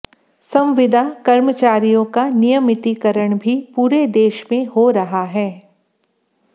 संविदा कर्मचारियों का नियमितीकरण भी पूरे देश में हो रहा है